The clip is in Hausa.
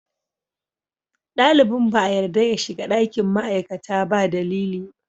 Dalibin ba a yarda ya shiga ɗakin ma'aikata ba dalili.